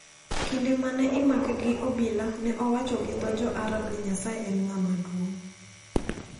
Kinde ma ne imake gi obila, ne owacho gi dho jo Arab ni Nyasaye en ng`ama duong`.